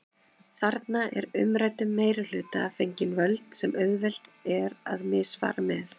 Þarna er umræddum meirihluta fengin völd sem auðvelt er að misfara með.